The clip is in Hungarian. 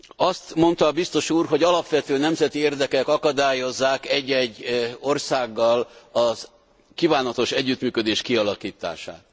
Azt mondta a biztos úr, hogy alapvető nemzeti érdekek akadályozzák egy egy országgal a kívánatos együttműködés kialakítását.